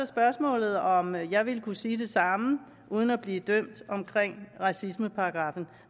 spørgsmålet om jeg ville kunne sige det samme uden at blive dømt efter racismeparagraffen